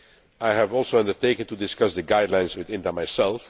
I have also undertaken to discuss the guidelines with INTA